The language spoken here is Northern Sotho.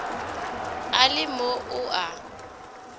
a le mo o a